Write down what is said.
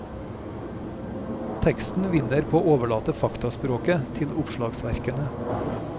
Teksten vinner på å overlate faktaspråket til oppslagsverkene.